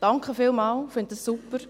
Vielen Dank, das finde ich super!